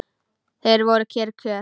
Þetta voru kyrr kjör.